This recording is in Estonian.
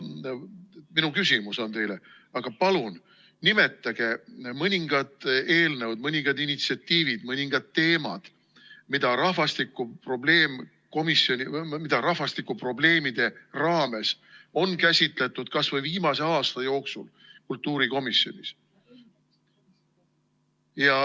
Minu küsimus teile on: aga palun nimetage mõningad eelnõud, mõningad initsiatiivid, mõningad teemad, mida rahvastikuprobleemide raames on käsitletud kas või viimase aasta jooksul kultuurikomisjonis.